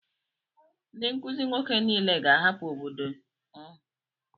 Ndị nkuzi nwoke niile ga-ahapụ obodo ọnụ.